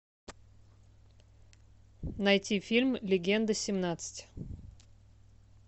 найти фильм легенда семнадцать